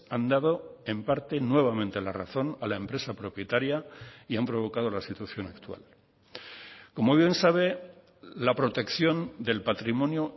han dado en parte nuevamente la razón a la empresa propietaria y han provocado la situación actual como bien sabe la protección del patrimonio